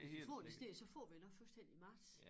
Får det i stedet så får vi det nok først hen i marts